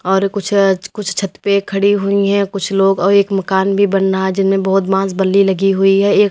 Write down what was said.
और कुछ अ कुछ छत पे खड़ी हुई हैं कुछ लोग और एक मकान भी बन्ना है जिनमें बहुत बाँस बल्ली लगी हुई है। एक --